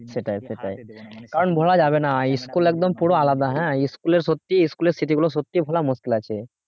সেটাই সেটাই কারণ ভোলা যাবে না school একদম পুরা আলাদা হ্যাঁ school এর সত্যি school এর স্মৃতিগুলো সত্যিই ভুলা মুশকিল আছে